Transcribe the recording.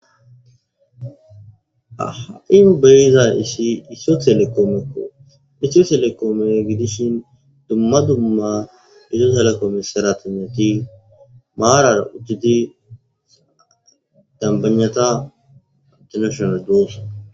Aha7in beyiza isi isiyo telekoomekko isio telekoome gidishin dumma dumma izo salekome sara tinnati maarar udtidi dambanyata abtinashonal duuss